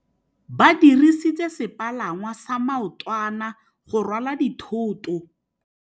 Ba dirisitse sepalangwasa maotwana go rwala dithôtô.